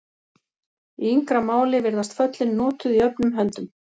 Í yngra máli virðast föllin notuð jöfnum höndum.